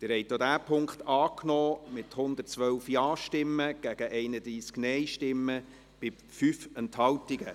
Sie haben den Punkt 4 angenommen, mit 112 Ja- gegen 31 Nein-Stimmen bei 5 Enthaltungen.